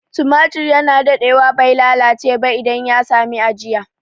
Tumatur ya na daɗewa bai lalace ba idan ya sami ajiya